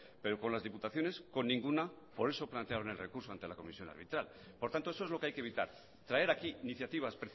pero con las diputaciones con ninguna por eso plantearon el recurso ante la comisión arbitral por tanto eso es lo que hay que evitar traer aquí iniciativas